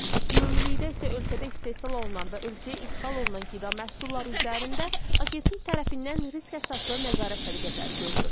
Ümumilikdə isə ölkədə istehsal olunan və ölkəyə idxal olunan qida məhsulları üzərində agentlik tərəfindən risk əsaslı nəzarət tədbirləri görülür.